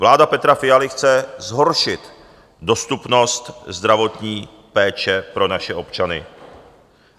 Vláda Petra Fialy chce zhoršit dostupnost zdravotní péče pro naše občany.